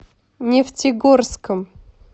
нефтегорском